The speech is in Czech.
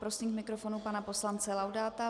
Prosím k mikrofonu pana poslance Laudáta.